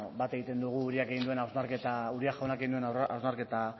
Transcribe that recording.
bat egiten dugu uria jaunak egin duen hausnarketa